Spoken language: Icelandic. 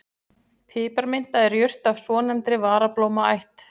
Piparminta er jurt af svonefndri varablómaætt.